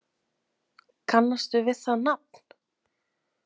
Kannastu við það nafn?